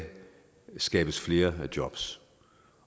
skabes flere jobs